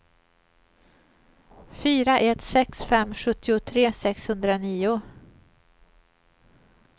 fyra ett sex fem sjuttiotre sexhundranio